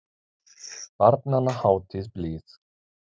Barnanna hátíð blíð.